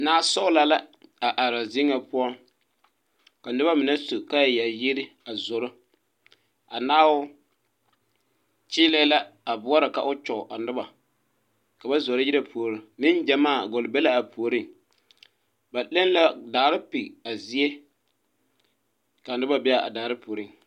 Nasɔglɔ la a are zie ŋa poɔ ka noba mine su kaaya a zoro a naao kyeelɛɛ la boɔrɔ k'o kyɔge a noba ka ba zoro yire puori neŋgyamaa gɔle be la a puoriŋ ba le la daare pɛge a zie ka noba be a daare puori.